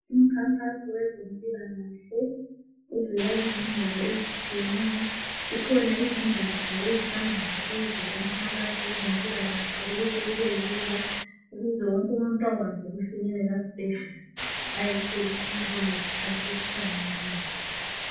Umkhankaso wezempilakahle ovela ezindaweni ezitshiyeneyo, zikhona izingatsha ezihamba zisenza umkhankaso wezempilakahle ukuthi kubelula ukuze wonkumuntu ongakwazi ukufinyelela esibhedlela ayethola usizo ngesikhathi esifaneleyo.